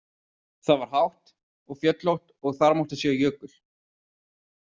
Það var hátt og fjöllótt og þar mátti sjá jökul.